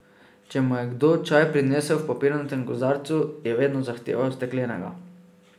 Če mu je kdo čaj prinesel v papirnatem kozarcu, je vedno zahteval steklenega.